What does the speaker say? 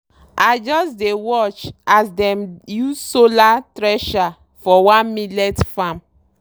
i just dey watch as dem use solar thresher for one millet farm.